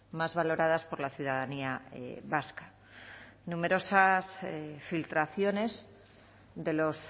más valoradas por la ciudadanía vasca numerosas filtraciones de los